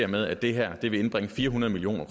med at det her vil indbringe fire hundrede million